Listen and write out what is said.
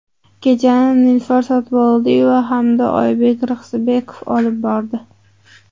Kechani Nilufar Sotiboldiyeva hamda Oybek Rixsibekov olib bordi.